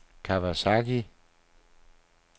Kawasaki